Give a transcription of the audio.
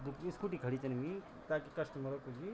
यख स्कुटी खड़ी छन हुयीं ताकि कस्टमर कुछ भी --